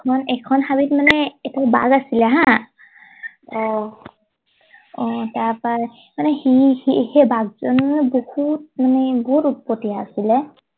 এখন এখন হাবিত মানে এটা বাঘ আছিলে হা অ অহ তাৰ পৰা মানে সি সি সেই বাঘ জনীয়ে মানে বহুত মানে বহুত উৎপতিয়া আছিলে